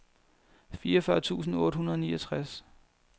fireogfyrre tusind otte hundrede og niogtres